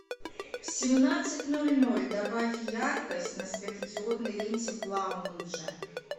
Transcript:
в семнадцать ноль ноль добавь яркость на светодиодной ленте в лаунже